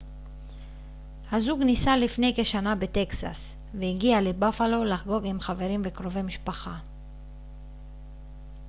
הזוג נישא לפני כשנה בטקסס והגיע לבאפלו לחגוג עם חברים וקרובי משפחה